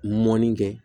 Mɔni kɛ